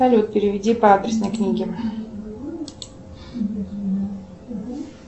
салют переведи по адресной книге